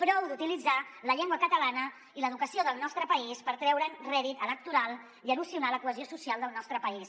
prou d’utilitzar la llengua catalana i l’educació del nostre país per treure’n rèdit electoral i erosionar la cohesió social del nostre país